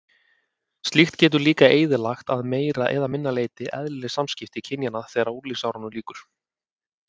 Slíkt getur líka eyðilagt að meira eða minna leyti eðlileg samskipti kynjanna þegar unglingsárunum lýkur.